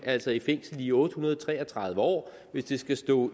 altså i fængsel i otte hundrede og tre og tredive år hvis det skal stå